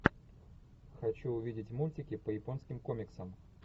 хочу увидеть мультики по японским комиксам